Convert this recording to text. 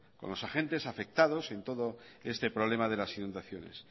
con los agentes afectados en todo este problema de las inundaciones